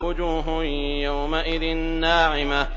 وُجُوهٌ يَوْمَئِذٍ نَّاعِمَةٌ